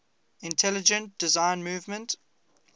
intelligent design movement